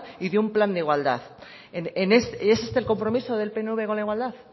y de un plan de igualdad y es este el compromiso del pnv con la igualdad